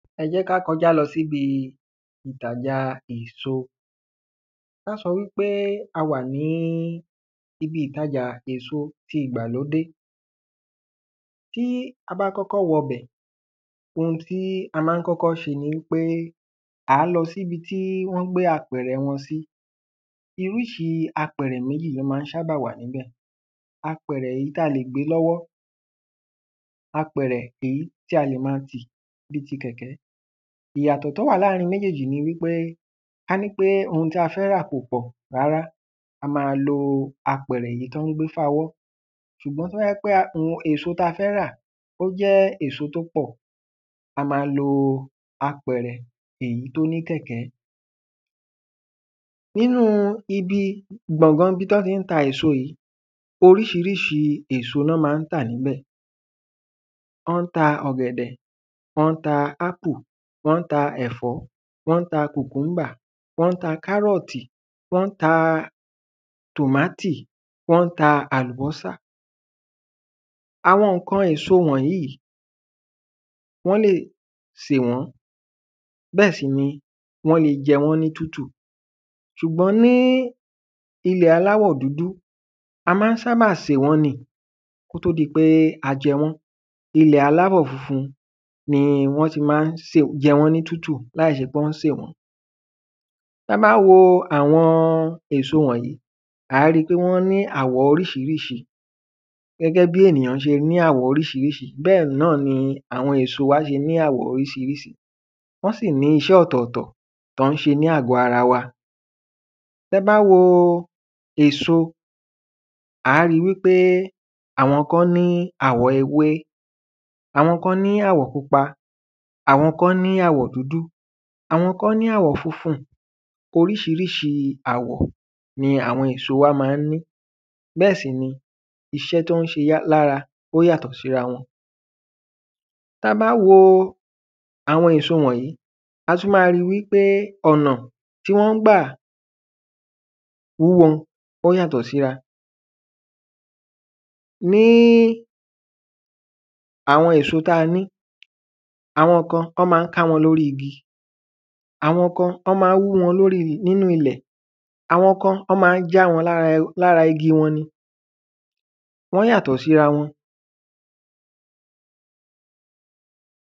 Ẹ jẹ́ ká kọjá lọ sí ibi ìtajà èso. Ká sọ wípé a wà níbi ìtajà èso ìgbàlódé tí a bá kọ́kọ́ wọ bẹ̀ ohun tí a má ń kọ́kọ́ ṣe ni wípé à á lọ sí ibi tí wọ́n gbé apẹ̀rẹ̀ wọn sí. Oríṣi apẹ̀rẹ̀ méjì ló má ń ṣábà wà níbẹ̀ apẹ̀rẹ̀ èyí tí a lè gbé lọ́wọ́ apẹ̀rẹ̀ èyí tí a lè má ti bí kẹ̀kẹ́ ìyàtọ̀ tí ó wà ní àrin méjéjì ni wípé kání ohun tí a fẹ́ rà kò pọ̀ rárá a má lo apẹ̀rẹ̀ èyí tán ń gbé fa ọwọ́ ṣùgbọ́n tó bá jẹ́ pé èso tá fẹ́ rà ó jẹ́ èso tó pọ̀ a má lo apẹ̀rẹ̀ èyí tó ní kẹ̀kẹ́. Nínú ibi gbọ̀ngàn ibi tí wọ́n ń ta èso yìí oriṣiríṣi èso ni wọ́n má ń tà níbẹ̀ wọ́n ń ta ọ̀gẹ̀dẹ̀ wọ́n ń ta ápú wọ́n n ta ẹ̀fọ́ wọ́n ń ta cucumber wọ́n ń ta kárọ̀tì wọ́n ń ta tòmátì wọ́n ń ta àlùbọ́sà. Àwọn nǹkan èso wọ̀nyìí wọ́n lè sè wọ́n bẹ́ẹ̀ sì ni wọ́n le jẹ wọ́n ní tútù. Ṣùgbọ́n ní ilẹ̀ aláwọ̀ dúdú a má ń sábà sè wọ́n ni kó tó di pé a jẹ wọ́n ilẹ̀ aláwọ̀ funfun ni wọ́n ti má ń jẹ wọ́n ní tútù láì ṣe pé wọ́n sè wọ́n. Tá bá wo àwọn èso wọ̀nyìí à á rí pé wọ́n ní àwọ̀ oríṣirísi Gẹ́gẹ́ bí ènìyàn ṣe ní àwọ̀ oríṣirísi bẹ́ẹ̀ náni àwọn èso ṣe ní àwọ̀ oɹíṣiríṣi wọ́n sì ní iṣẹ́ ọ̀tọ̀tọ̀ tí wọ́n ń ṣe ní àgọ́ ara wa. Tẹ́ bá wo èso à á rí wípé àwọn kan ní àwọ̀ ewé àwọn kan ní àwọ̀ pupa àwọn kan ní àwọ̀ dúdú àwọn kan ní àwọ̀ funfun oríṣiríṣi àwọ̀ ni àwọn èso wa má ń ní bẹ́ẹ̀ sì ni iṣẹ́ tó ń ṣe lára ó yàtọ̀ síra wọn. Tá bá wo àwọn èso wọ̀nyìí a tún má rí wípé ọ̀nà tí wọ́n ń gbà hú wọn ó yàtọ̀ síra ní àwọn èso tá ní àwọn kan wọ́n má ń ká wọn lórí igi àwọn kan wọ́n má ń hú wọn lórí ilẹ̀ àwọn kan wọ́n má ń já wọn lára igi wọn ni wọ́n yàtọ̀ sírawọn.